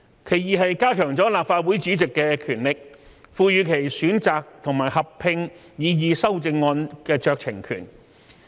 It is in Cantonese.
其二，加強立法會主席的權力，賦予其選擇及合併擬議修正案的酌情權。